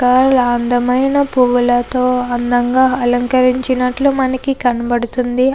చాల అంతమైన పువ్వులతో అందంగా అలంకరించునట్లు మనకి కనబడుతుంది.